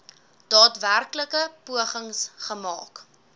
daadwerklike pogings gemaak